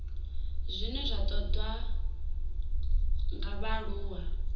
zwine zwa ṱoḓwa nga vhaaluwa